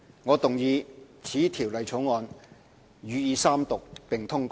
我動議此條例草案予以三讀並通過。